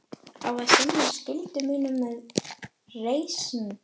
Á að sinna skyldu mínum með reisn.